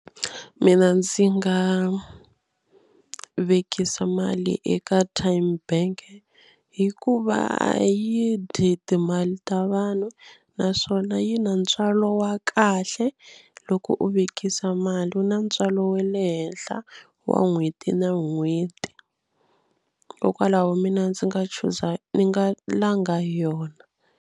Mina ndzi nga vekisa mali eka TymeBank hikuva a yi dyi timali ta vanhu naswona yi na ntswalo wa kahle. Loko u vekisa mali wu na ntswalo wa le henhla wa n'hweti na n'hweti kokwalaho mina ndzi nga chuza ni nga langa yona.